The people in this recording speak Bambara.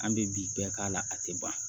An bɛ bi bɛɛ k'a la a tɛ ban